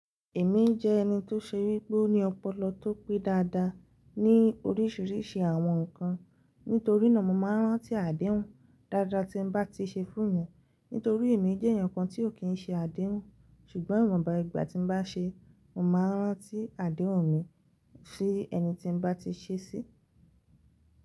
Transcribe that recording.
Èmi jẹ́ ẹni tó ṣe wípé ó ní ọpọlọ tó pé dáadáa ní orísìírísìí àwọn ǹkan. Nítorí náà mo máa ń rántí àdéhùn dáadáa tí n bá ti ṣe fún mi. Nítorí èmi jẹ́ ẹnìkan tí ò kí ń ṣe àdéhùn, ṣùgbọ́n ìwọ̀nba ìgbà tí n bá ṣe, mo máa rántí àdéhùn mi si ẹni tí n bá ti ṣe sí.